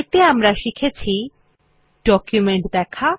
এতে আমরা শিখেছি ডকুমেন্ট দেখা